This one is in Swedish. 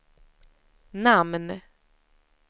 namn